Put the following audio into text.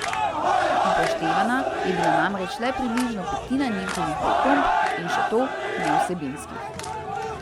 Upoštevana je bila namreč le približno petina njihovih pripomb, in še to nevsebinskih.